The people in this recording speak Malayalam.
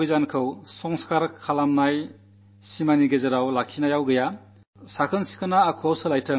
ശുചിത്വ മുന്നേറ്റം വെറുതെ ചടങ്ങുകളിൽ ഒതുങ്ങുന്നതുകൊണ്ടും കാര്യം നടക്കില്ല